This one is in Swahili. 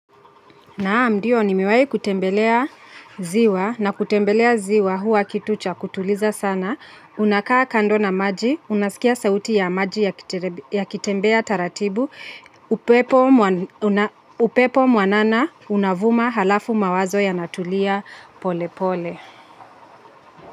Naam, ndio nimewai kutembelea ziwa na kutembelea ziwa huwa kitucha kutuliza sana. Unakaa kando na maji, unasikia sauti ya maji yakitembea taratibu, upepo mwanana unavuma halafu mawazo yanatulia pole pole.